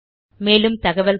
மேலும் தகவல்களுக்கு